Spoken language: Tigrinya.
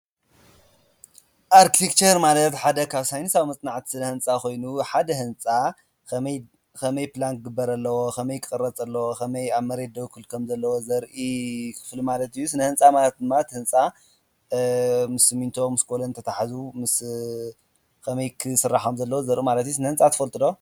ኣርክቴክቸር ማለት ሓደ ካብ ሳይነሳዊ መፅናዕታዊ ስነ ህንፃ ኮይኑ፣ ሓደ ህንፃ ከመይ ፕላን ክግበር አለዎ፣ ከመይ ክቅረፅ አለዎ፣ ከመይ ኣብ መሬት ደው ክብል ከምዘለዎ ዘርኢ ክፍሊ ማለት እዩ ። ስነ ህንፃ ማለት ድማ እቲ ህንፃ ምስ ስሚንቶ፣ ምስ ኮለን ተተሓሒዙ ምስ ከመይ ክስራሕ ከምዘለዎ ዘርኢ ማለት እዩ። ህንፃ ትፈልጡ ዶ?